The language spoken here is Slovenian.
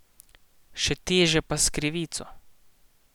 Še teže pa s krivico.